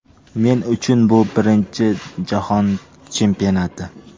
Men uchun bu birinchi jahon chempionati.